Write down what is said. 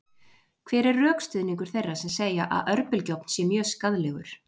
hver er rökstuðningur þeirra sem segja að örbylgjuofn sé mjög skaðlegur